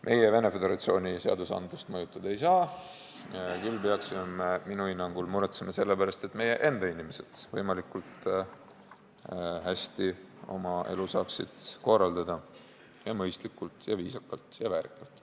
Meie Venemaa Föderatsiooni seadusandlust mõjutada ei saa, küll aga peaksime minu hinnangul muretsema selle pärast, et meie enda inimesed saaksid oma elu korraldada võimalikult hästi ja mõistlikult ja viisakalt ja väärikalt.